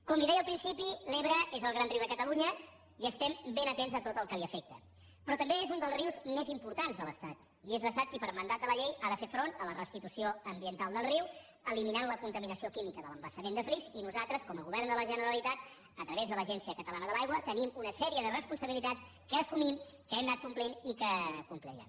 com li deia al principi l’ebre és el gran riu de catalunya i estem ben atents a tot el que l’afecta però també és un dels rius més importants de l’estat i és l’estat qui per mandat de la llei ha de fer front a la restitució ambiental del riu eliminant la contaminació química de l’embassament de flix i nosaltres com a govern de la generalitat a través de l’agència catalana de l’aigua tenim una sèrie de responsabilitats que assumim que hem anat complint i que complirem